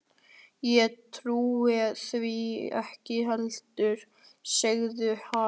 Ég trúi því ekki heldur, sagði Ari.